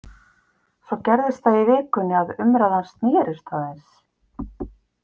Svo gerðist það í vikunni að umræðan snerist aðeins.